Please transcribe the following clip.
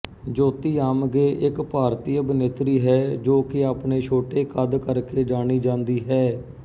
ਜੋਤੀ ਆਮਗੇ ਇੱਕ ਭਾਰਤੀ ਅਭਿਨੇਤਰੀ ਹੈ ਜੋ ਕਿ ਆਪਣੇ ਛੋਟੇ ਕੱਦ ਕਰਕੇ ਜਾਣੀ ਜਾਂਦੀ ਹੈ